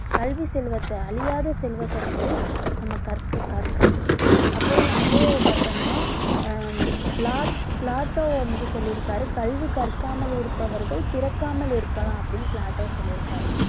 கல்வி செல்வத்தை அழியாத செல்வத்தை வந்து நம்ம கற்க~ கற்கணும் அப்புறம் வந்து பார்த்தோம்னா ஹம் பிளாட்~ பிளாட்டோ வந்து சொல்லி இருக்காரு கல்வி கற்காமல் இருப்பவர்கள் பிறக்காமல் இருக்கலாம் அப்படின்னு பிளாட்டோ சொல்லி இருக்காரு